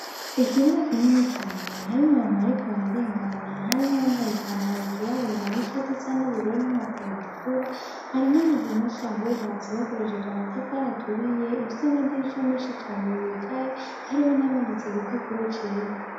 Ikibuga kinini cane, harimwo abantu bariko bararengana, harimwo uwambaye ipantalo ryirabura n'ishati isa n'ubururu n'inkofero itukura; hari n'amazu menshi ahubatse hakoreshejwe amatafari aturiye, ifise amadirisha menshi cane yugaye, hariho n'ahamanitse igipapuro cera.